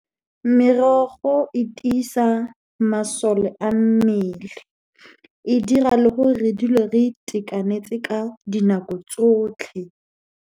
Merogo e tiisa masole a mmele. E dira le gore re dule re itekanetse ka dinako tsotlhe.